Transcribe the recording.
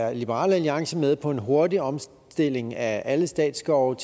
er liberal alliance med på en hurtig omstilling af alle statsskovene